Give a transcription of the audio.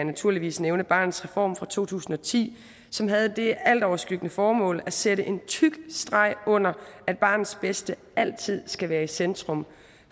naturligvis nævne barnets reform fra to tusind og ti som havde det altoverskyggende formål at sætte en tyk streg under at barnets bedste altid skal være i centrum